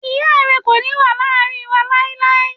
Iya rẹ ko ni wa laarin wa lailai